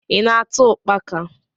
Ị na-ata ugbaka?